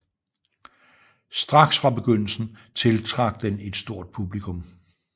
Straks fra begyndelsen tiltrak den et stort publikum